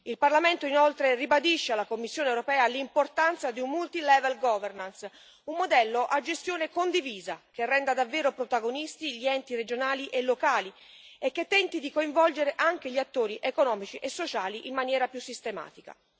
Il Parlamento, inoltre, ribadisce alla Commissione europea l'importanza di una multilevel governance un modello a gestione condivisa, che renda davvero protagonisti gli enti regionali e locali e che tenti di coinvolgere anche gli attori economici e sociali in maniera più sistematica.